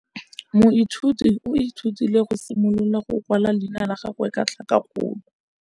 Moithuti o ithutile go simolola go kwala leina la gagwe ka tlhakakgolo.